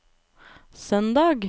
søndag